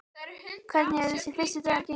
Hvernig hefur þessi fyrsti dagur gengið?